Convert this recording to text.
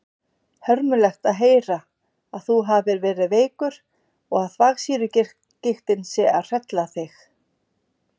Hörmulegt að heyra að þú hafir verið veikur og að þvagsýrugigtin sé að hrella þig.